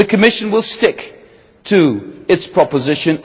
The Commission will stick to its proposition.